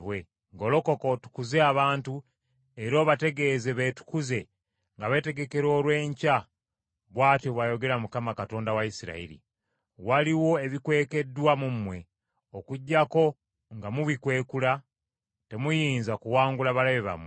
“Golokoka otukuze abantu era obategeeze beetukuze nga beetegekera olw’enkya bw’atyo bw’ayogera Mukama , Katonda wa Isirayiri. Waliwo ebikwekeddwa mu mmwe; okuggyako nga mubikwekula temuyinza kuwangula balabe bammwe.